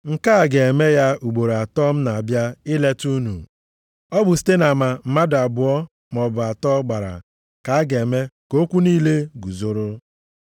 Nke a ga-eme ya ugboro atọ m na-abịa ileta unu. Ọ bụ site nʼama mmadụ abụọ maọbụ atọ gbara ka a ga-eme ka okwu niile guzoro. + 13:1 \+xt Dit 19:15\+xt*